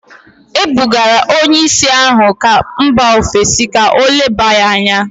E bugara onye ìsì ahụ gaa mba ofesi ka o leba ya anya